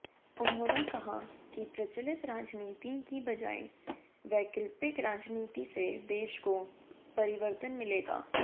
उन्होंने कहा कि प्रचलित राजनीति की बजाय वैकल्पिक राजनीति से देश को परिवर्तन मिलेगा